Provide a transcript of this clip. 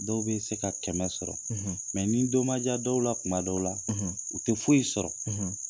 Dɔw bɛ se ka kɛmɛ sɔrɔ ni don ma ja dɔw la kuma dɔw la u te foyi sɔrɔ